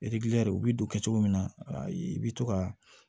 u bi don cogo min na i bi to ka